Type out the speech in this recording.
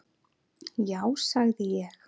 Já sagði ég.